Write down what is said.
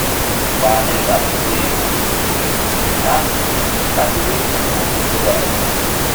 wa nilo la ti se ayewo pipe lati lati ri iranlowo to dara julo